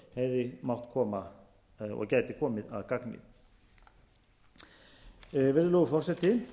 í íslensk lög hefðu mátt koma og gæti komið að gagni virðulegur forseti